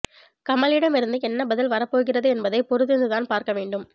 கமலிடம் இருந்து என்ன பதில் வரப்போகிறது என்பதை பொறுத்திருந்துதான் பார்க்க வேண்டும்